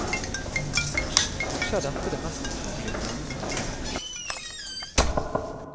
Kanskje er dette det mest utrolige med denne nittenåringen.